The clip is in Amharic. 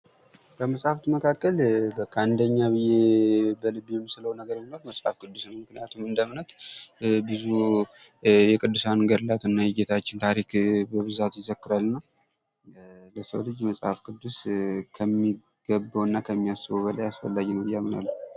ከመፅሀፍት መካከል በቃ አንደኛ ብየ በልቤ የምስለዉ ነገር ቢኖር መፅሐፍ ቅዱስን ነዉ። ምክንያቱም እንደ እምነት ብዙ የቅዱሳን ገድላት እና የጌታችን ታሪክ በብዛት ይዘክራል። እና የሰዉ ልጅ መፅሐፍ ቅዱስ ከሚገባዉ እና ከሚያስበዉ በላይ አስፈላጊ ነዉ ብየ አምናለሁ።